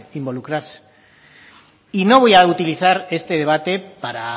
involucrarse y no voy a utilizar este debate para